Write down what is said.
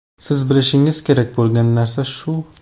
Siz bilishingiz kerak bo‘lgan narsa shu.